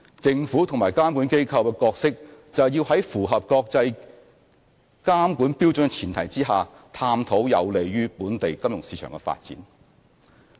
政府及監管機構的角色，就是要在符合國際監管標準的前提下，探討有利於本地金融市場的發展。